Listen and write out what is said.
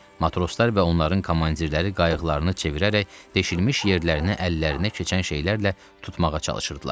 Matroslar və onların komandirləri qayıqlarını çevirərək deşilmiş yerlərinə əllərinə keçən şeylərlə tutmağa çalışırdılar.